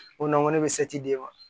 O na ko ne bɛ di wa